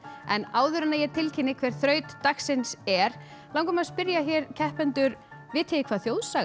en áður en ég tilkynni hver braut dagsins er langar mig að spyrja hér keppendur vitið þið hvað þjóðsaga